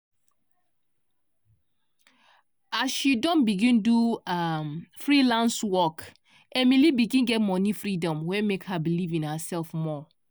as she begin do um freelance work emily begin get money freedom wey make her believe in herself more.